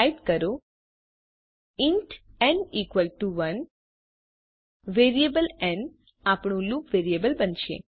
type કરો int n equal to 1 variable n આપણું loop variable બનશે